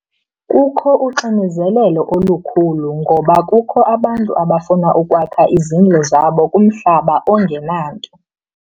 Kukho uxinizelelo olukhulu ngoba kukho abantu abafuna ukwakha izindlu zabo kumhlaba ongenanto.